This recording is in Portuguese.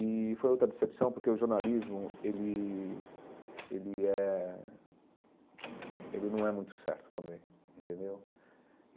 E foi outra decepção, porque o jornalismo ele ele é ele não é muito certo também entendeu.